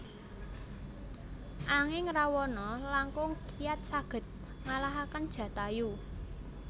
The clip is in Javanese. Anging Rawana langkung kiyat saged ngalahaken Jatayu